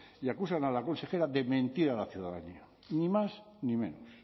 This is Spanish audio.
y acusan a la consejera de mentir a la ciudadanía ni más ni menos